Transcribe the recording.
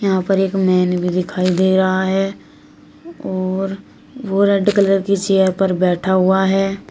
यहां पर एक मैन भी दिखाई दे रहा है और वो रेड कलर की चेयर पर बैठा हुआ है।